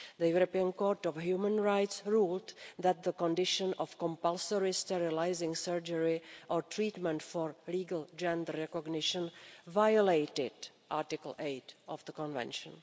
The European Court of Human Rights ruled that the condition of compulsory sterilising surgery or treatment for legal gender recognition violated Article 8 of the Convention.